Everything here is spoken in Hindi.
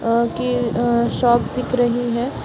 आगे अ शॉप दिख रही है।